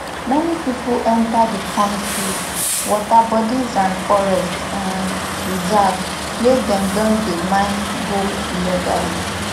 many pipo enta di kontri waterbodies and forest um reserves wia dem don dey mine gold illegally